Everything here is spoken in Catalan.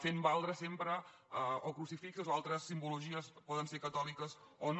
fent valdre sempre o crucifixos o altres simbologies poden ser catòliques o no